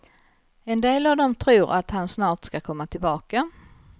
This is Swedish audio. En del av dem tror att han snart ska komma tillbaka.